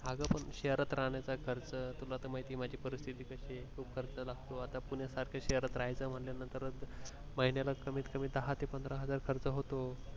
अग पण शहरात राहण्याचा खर्च तुला तर माहिती आहे माझी परिस्थिती कशी आहे खूप खर्च लागतो आता पुण्यासारख्या शहरात राहायचा आहे म्हटलं तर महिन्याला कमीत कमी दहा ते पंधरा हजार खर्च होतो